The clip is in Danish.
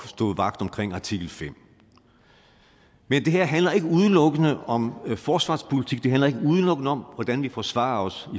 stå vagt omkring artikel femte men det her handler ikke udelukkende om forsvarspolitik det handler ikke udelukkende om hvordan vi forsvarer os